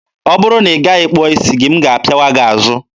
ọ bụrụ na ị gaghị kpụọ isi gị, m ga-apịawa gị azụ!